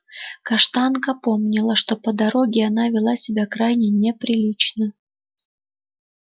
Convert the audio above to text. каштанка помнила что по дороге она вела себя крайне неприлично